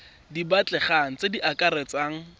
di batlegang tse di akaretsang